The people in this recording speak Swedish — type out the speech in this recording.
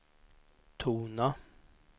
tona